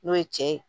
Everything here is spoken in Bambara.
N'o ye cɛ ye